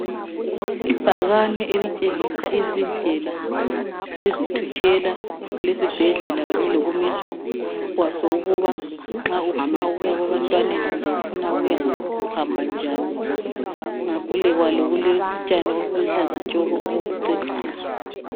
Ibhakane elitshengisa izindlela ezithutshela kulesibhedlela Kanye lokumiswa kwaso. Ukuba nxa ufuna ukuya kwabantwaneni, kumbe ufuna ukuya ngaphi, uhamba njani. Ngaphi kwalo, kulotshani, obuluhlaza tshoko! Obokucecisa.